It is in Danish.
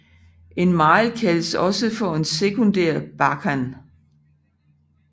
En mile kaldes også for en sekundær bakhan